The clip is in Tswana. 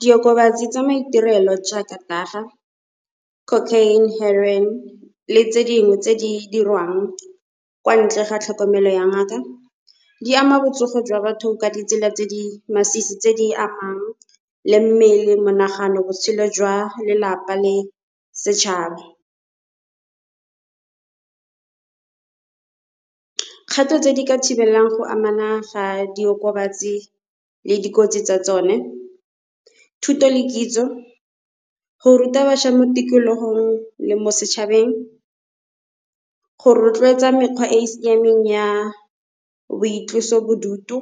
Diokobatsi tsa maiterelo jaaka Dagga, Cocaine le Heroine le tse dingwe tse di dirwang kwa ntle ga tlhokomelo ya ngaka, di ama botsogo jwa batho ka ditsela tse di masisi tse di amang le mmele monagano botshelo jwa lelapa le setšhaba. Kgato tse di ka thibelelang go amana ga diokobatsi le dikotsi tsa tsone, thuto le kitso go ruta bašwa mo tikologong le mo setšhabeng, go rotloetsa mekgwa e e siameng ya boitlosobodutu,